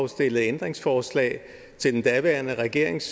stillede ændringsforslag til den daværende regerings